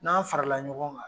N'aan farala ɲɔgɔn kan.